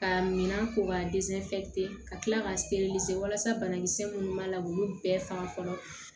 Ka minan ko k'a ka kila ka walasa banakisɛ minnu mana k'olu bɛɛ faga fɔlɔ